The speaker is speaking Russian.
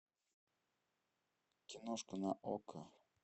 киношка на окко